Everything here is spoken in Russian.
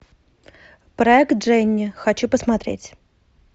проект дженни хочу посмотреть